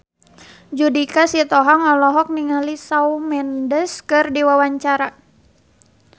Judika Sitohang olohok ningali Shawn Mendes keur diwawancara